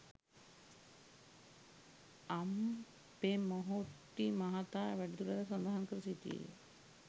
අම්පෙමොහොට්ටි මහතා වැඩිදුරටත් සඳහන් කර සිටියේ